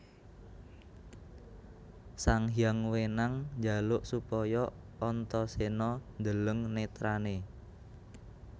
Sanghyang Wenang njaluk supaya Antaséna ndeleng netrané